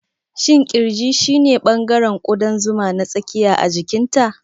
Shin ƙirji shine ɓangaren ƙudan zuma na tsakiya a jikinta?